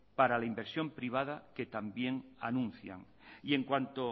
para la inversión privada que también anuncian y en cuanto